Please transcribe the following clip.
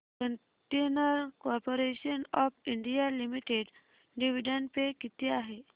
container corporation of India limited dividend pay किती आहे